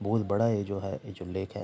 बहुत बड़ा ये जो है ये जो लेख है।